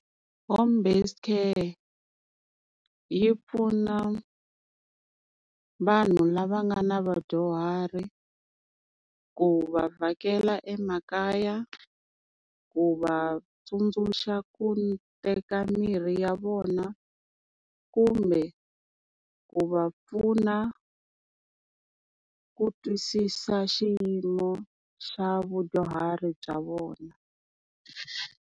Home based care yi pfuna vanhu lava nga na vadyuhari ku va vhakela emakaya, ku va tsundzuxa ku teka mirhi ya vona, kumbe ku va pfuna ku twisisa xiyimo xa vadyuhari bya vona.